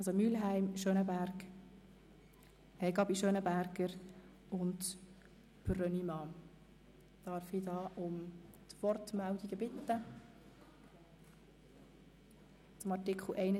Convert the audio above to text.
Also, es sprechen Grossrätin Mühlheim, Grossrätin Gabi, Grossrat Brönnimann und dann Grossrat Kohler.